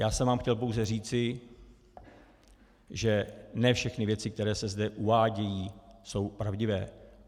Já jsem vám chtěl pouze říci, že ne všechny věci, které se zde uvádějí, jsou pravdivé.